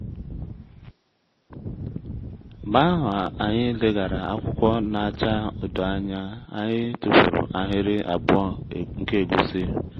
mgbe ahụ anyị leghara akwụkwọ na-acha odo anya anyị tụfuru ahịrị abụọ nke egusi